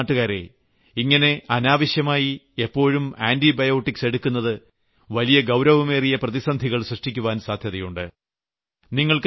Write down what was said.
എന്നാൽ എന്റെ നാട്ടുകാരേ ഇങ്ങനെ അനാവശ്യമായി എപ്പോഴും ആന്റിബയോട്ടിക്സ് എടുക്കുന്നത് വലിയ ഗൌരവമേറിയ പ്രതിസന്ധികൾ സൃഷ്ടിക്കുവാൻ സാധ്യതയുണ്ട്